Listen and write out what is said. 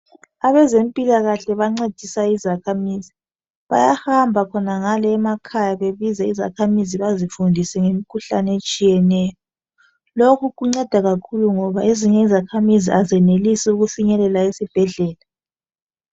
Abazempilakahle bancedisa izakhamizi, bayahamba khonangale emakhaya bebize izakhamuzi bazifundise ngemikhuhlane etshiyeneyo. Lokhu kunceda kakhulu ngoba ezinye izakhumuzi azenelisi ukufinyelela esibhedlela.